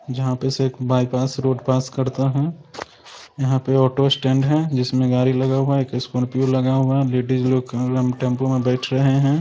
जहाँ पर सब बाईपास रोड पास करता है यहाँ पे ऑटो स्टैंड है जिसमे गाड़ी लगा हुआ है स्कार्पियो लगा हुआ हुआ है लेडीज लोग टेम्पो में बैठ रहे हैं।